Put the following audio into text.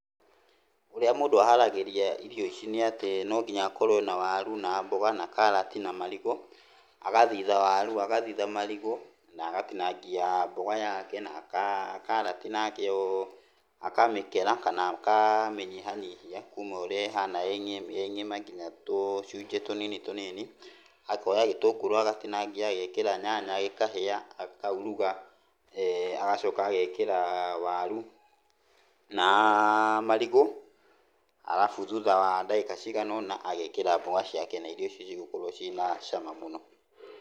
Ũrĩa mũndũ aharagĩria irio ici nĩ atĩ no nginya akorwo e na waru na mboga na karati na marigũ. Agathitha waru, agathitha marigũ na agatinagia mboga yake na karati nakĩo akamĩkera kana akamĩnyihanyihia, kuma ũrĩa ĩhana ĩ ng'ima kinya tũcunjĩ tũnini tũnini. Akoya gĩtũngũrũ agatinangia agekĩra nyanya gĩkahĩa akauruga, agacoka agekĩra waru na marigũ alafu thutha wa ndagĩka cigana ũna agekĩra mboga ciake na irio icio cigũkorwo cĩna cama mũno.